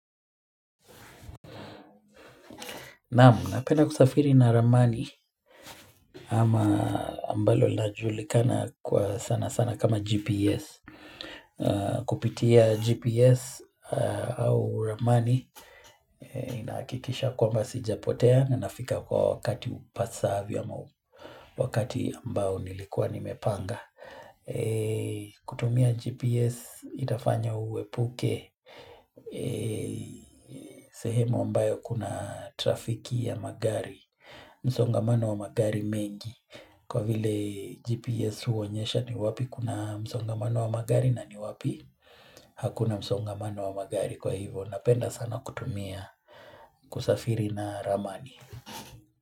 Naam, napenda kusafiri na ramani ama ambalo lajulikana kwa sana sana kama GPS. Kupitia GPS au ramani inahakikisha kwamba sijapotea na nafika kwa wakati upasaavyo na wakati ambao nilikuwa nimepanga. Kutumia GPS itafanya uepuke sehemu ambayo kuna trafiki ya magari. Msongamano wa magari mengi Kwa vile GPS uonyesha ni wapi kuna msongamano wa magari na ni wapi Hakuna msongamano wa magari kwa hivo Napenda sana kutumia kusafiri na ramani.